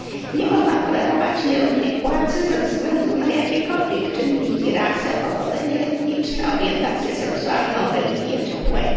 Nie można tolerować nierównej płacy ze względu na jakiekolwiek czynniki rasę, pochodzenie etniczne, orientację seksualną, religię czy płeć.